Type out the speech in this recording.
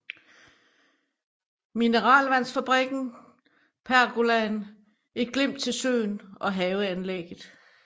Mineralvandsfabrikken pergolaen et glimt til søen og haveanlægget